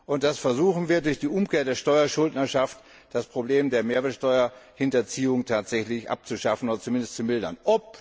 Wir versuchen, durch die Umkehr der Steuerschuldnerschaft das Problem der Mehrwertsteuerhinterziehung tatsächlich abzuschaffen oder zumindest zu mildern.